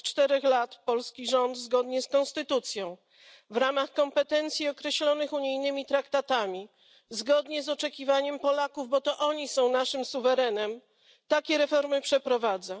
Od 4 lat polski rząd zgodnie z konstytucją, w ramach kompetencji określonych unijnymi traktatami i zgodnie z oczekiwaniem Polaków, bo to oni są naszym suwerenem, takie reformy przeprowadza.